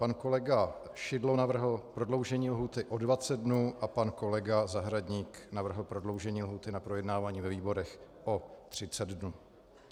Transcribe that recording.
Pan kolega Šidlo navrhl prodloužení lhůty o 20 dnů a pan kolega Zahradník navrhl prodloužení lhůty na projednávání ve výborech o 30 dnů.